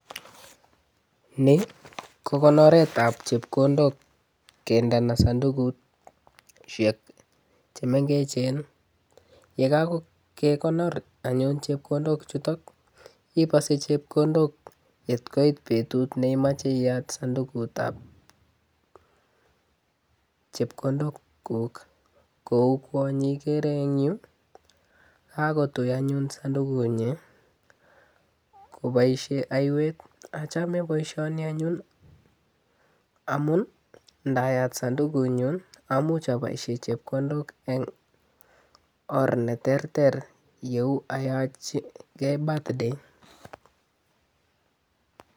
Ni ko konoretab chepkondok kindana sandukusiek chemengechen, ye kakekonor anyun chepkondokchuto, ibose chepkondok yet koit betut neimache iyat sandukutab chekondokuk kou kwonyi ikere eng yu, kakotui anyun sandukunyi koboisie aiywet. Achame boisioni anyun amun ndayat sandukunyun amuch aboisie chepkondok eng or ne terter yeu ayachigei birthday.